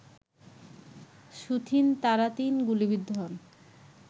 soothing Tharatin গুলিবিদ্ধ হন